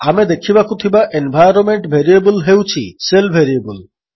ଆମେ ଦେଖିବାକୁ ଥିବା ଏନ୍ଭାଇରୋନ୍ମେଣ୍ଟ ଭେରିଏବଲ୍ ହେଉଛି ଶେଲ୍ ଭେରିଏବଲ୍